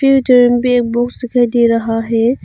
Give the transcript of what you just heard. ए C भी दिखाई दे रहा है।